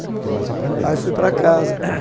Aí fui para casa.